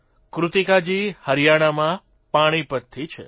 કૃતિકાજી હરિયાણામાં પાણીપતથી છે